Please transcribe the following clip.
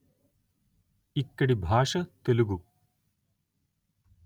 ఇక్కడి భాష తెలుగు